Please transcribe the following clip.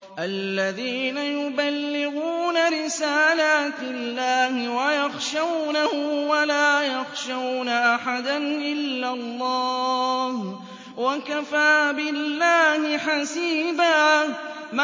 الَّذِينَ يُبَلِّغُونَ رِسَالَاتِ اللَّهِ وَيَخْشَوْنَهُ وَلَا يَخْشَوْنَ أَحَدًا إِلَّا اللَّهَ ۗ وَكَفَىٰ بِاللَّهِ حَسِيبًا